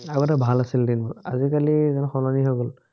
আগতে ভাল আছিল দিনবোৰ, আজিকালি যেন সলনি হৈ গল